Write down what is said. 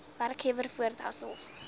werkgewer voort asof